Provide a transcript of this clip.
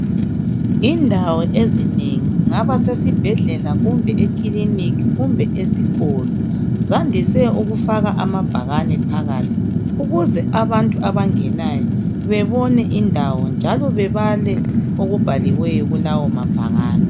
Indawo ezinengi. Kungaba sesibhedlela, kumbe ekiliniki, kumbe esikolo, zandise ukufaka amabhakane phakathi ukuze abantu abangenayo bebone indawo njalo bebale okubhaliweyo kulawo mabhakane.